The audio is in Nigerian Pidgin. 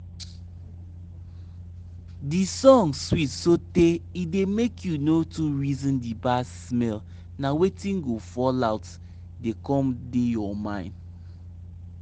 our farm song da yan about land water and seed plus sun e no da forget wetin crop need to grow